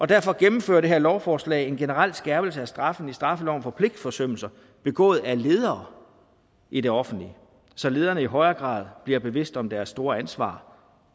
derfor gennemfører det her lovforslag en generel skærpelse af straffen i straffeloven for pligtforsømmelser begået af ledere i det offentlige så lederne i højere grad bliver bevidst om deres store ansvar